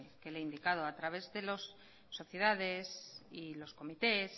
que le he indicado a través de las sociedades y los comités